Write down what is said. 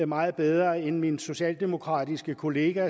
meget bedre end min socialdemokratiske kollega